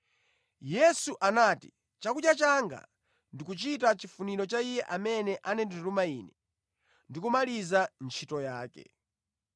Yesu anati, “Chakudya changa ndikuchita chifuniro cha Iye amene anandituma Ine ndi kumaliza ntchito yake.